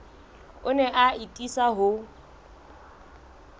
o ne a atisa ho